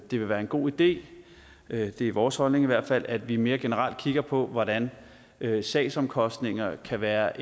det vil være en god idé det er vores holdning i hvert fald at vi mere generelt kigger på hvordan sagsomkostninger kan være